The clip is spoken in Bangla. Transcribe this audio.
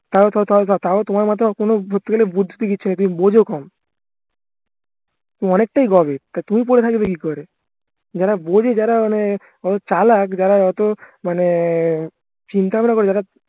তাও তোমার মাথায় কোনো ধরতে গেলে বুদ্ধি তো কিচ্ছু নেই তুমি বোঝো কম তুমি অনেকটাই গবেট তা তুমি পরে থাকবে কি করে যারা বোঝে যারা মানে চালাক যারা অতো মানে চিন্তা ভাবনা করে যারা